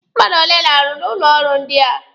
Mmadụ ole na-arụ n'ụlọ ọrụ ndị a?